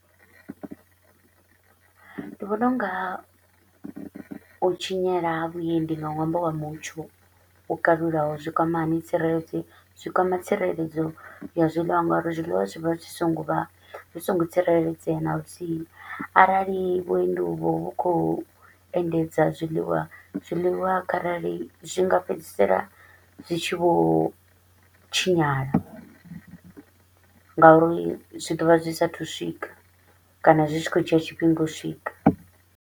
Ndi vhona u nga u tshinyala ha vhuendi nga ṅwambo wa mutsho wo kalulaho zwi kwama hani tsireledzo, zwi kwama tsireledzo ya zwiḽiwa nga uri zwiḽiwa zwi vha zwi so ngo vha zwi so ngo tsireledzea naluthihi. Arali vhuendi uvho vhu kho u endedza zwiḽiwa, zwiḽiwa kharali zwi nga fhedzisela zwi tshi vho tshinyala, nga uri zwi ḓovha zwi sa a thu u swika kana zwi tshi kho u dzhia tshifhinga u swika.